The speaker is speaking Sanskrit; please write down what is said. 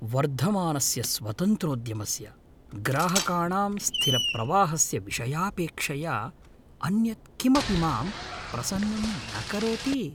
वर्धमानस्य स्वतन्त्रोद्यमस्य, ग्राहकाणां स्थिरप्रवाहस्य विषयापेक्षया अन्यत् किमपि मां प्रसन्नं न करोति ।